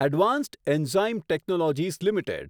advanced enzyme technologies limited